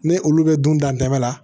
Ne olu bɛ dun dan tɛ la